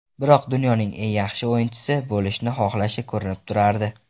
Biroq dunyoning eng yaxshi o‘yinchisi bo‘lishni xohlashi ko‘rinib turardi.